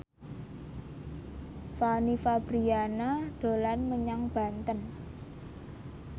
Fanny Fabriana dolan menyang Banten